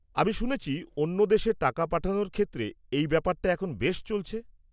আমি শুনেছি, অন্য দেশে টাকা পাঠানোর ক্ষেত্রে এই ব্যাপারটা এখন বেশ চলছে?